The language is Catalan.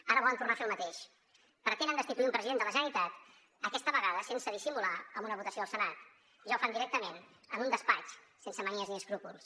ara volen tornar a fer el mateix pretenen destituir un president de la generalitat aquesta vegada sense dissimular amb una votació al senat ja ho fan directament en un despatx sense manies ni escrúpols